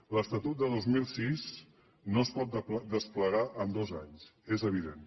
l’estatut de dos mil sis no es pot desplegar en dos anys és evident